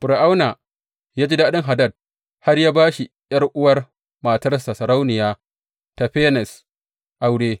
Fir’auna ya ji daɗin Hadad har ya ba shi ’yar’uwar matarsa, Sarauniya Tafenes, aure.